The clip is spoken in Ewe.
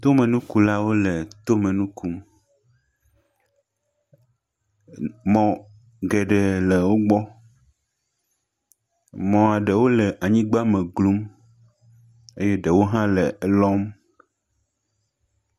Tomenukulawo le tome nu kum. Mɔ geɖee le wogbɔ. Mɔa ɖewo le anyigbeme glum. Eye ɖewo hã le elɔm.